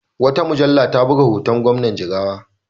Wata mujalla ta buga hoton Gwamnan Jigawa.